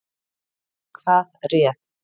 Hvað réð?